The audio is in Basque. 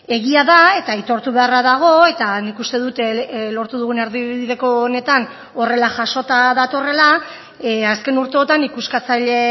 egia da eta aitortu beharra dago eta nik uste dut lortu dugun erdibideko honetan horrela jasota datorrela azken urteotan ikuskatzaile